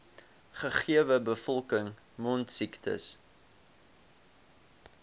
gegewe bevolking mondsiektes